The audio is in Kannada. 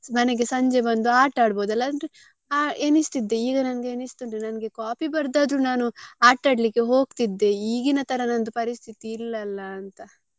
ಮನೆಗೆ ಸಂಜೆ ಬಂದು ಆಟ ಆಡ್ಬಹುದಲ್ಲ ಅಂದ್ರೆ ಎಣಿಸ್ತಿದ್ದೆ ಈಗ ನಂಗೆ ಎಣಿಸ್ತುಂಟು ನಂಗೆ copy ಬರ್ದ್ ಆದ್ರೂ ನಾನು ಆಟ ಆಡ್ಲಿಕ್ಕೆ ಹೋಗ್ತಿದ್ದೆ ಈಗಿನ ತರ ನಂದು ಪರಿಸ್ಥಿತಿ ಇಲ್ಲ ಅಲ್ಲ ಅಂತ.